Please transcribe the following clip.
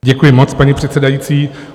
Děkuji moc, paní předsedající.